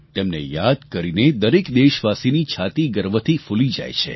તેમને યાદ કરીને દરેક દેશવાસીની છાતી ગર્વથી ફૂલી જાય છે